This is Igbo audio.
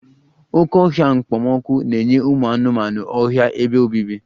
Oké ọhịa okpomọkụ na-enye ụmụ anụmanụ ọhịa ebe obibi